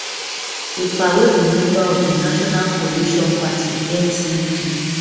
ekpa wey be member of di national coalition party ncp